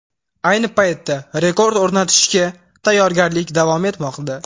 Ayni paytda rekord o‘rnatishga tayyorgarlik davom etmoqda.